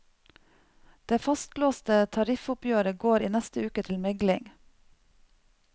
Det fastlåste tariffoppgjøret går i neste uke til megling.